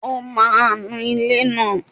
Ó máa nu ilé náà